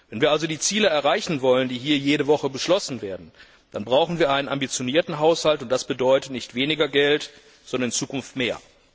Wenn wir also die Ziele erreichen wollen, die hier jede Woche beschlossen werden, dann brauchen wir einen ambitionierten Haushalt, und das bedeutet Nicht weniger Geld, sondern in Zukunft mehr.